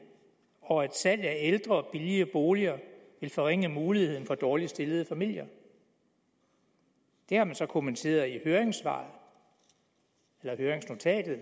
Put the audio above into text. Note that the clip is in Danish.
og at salg af ældre og billige boliger vil forringe muligheden for dårligt stillede familier det har man så kommenteret i høringsnotatet